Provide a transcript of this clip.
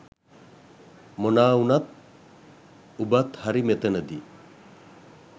මොනා උනත් උබත් හරි මෙතනදි